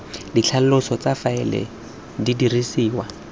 ditlhaloso tsa faele di dirisiwa